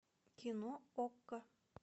кино окко